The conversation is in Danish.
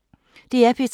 DR P3